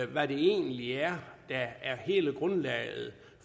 hvad det egentlig er der er hele grundlaget